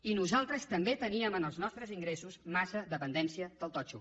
i nosaltres també teníem en els nostres ingressos massa dependència del totxo